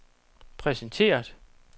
præsenteret